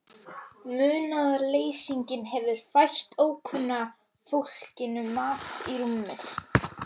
Munaðarleysinginn hefur fært ókunna fólkinu mat í rúmið.